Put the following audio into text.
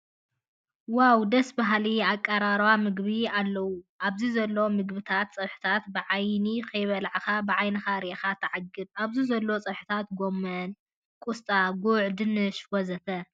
ዋው! ደስ በሃሊ ኣቀራርባ ምግቢ ኣለው ኣብዚ ዘለው ምግብታት ፀብሒታት ብዓይኒ ከይበለዓ ብዓይካ ሪኢካ ትዓግብ። ኣብዚ ዘለው ፀብሒታት ጎመን ቆጣ፣ ጉዕ፣ ድንሽ፣ ወዘተ....